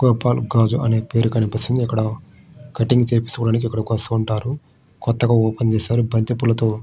గోపాల్ గంజ్ అనే పేరు కనిపిస్తుంది. ఇక్కడా కటింగ్ చేయడానికి ఇక్కడికి వస్తూ ఉంటారు. కొత్తగా ఓపెన్ చేశారు. బంతిపూలతో --